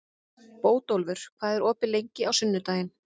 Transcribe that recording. Bótólfur, hvað er opið lengi á sunnudaginn?